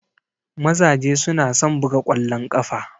Mazaje su na son buga kwallon kafa.